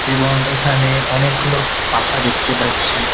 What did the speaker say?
এবং এখানে অনেকগুলো পাখা দেখতে পাচ্ছি।